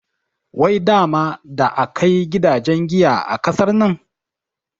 Wai dama da akai gidajen giya a ƙasar nan?